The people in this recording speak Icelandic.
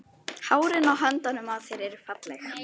Hárin á höndunum á þér eru falleg.